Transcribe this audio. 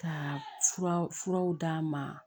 Ka furaw d'a ma